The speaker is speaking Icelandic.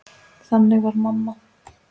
Þannig var mamma.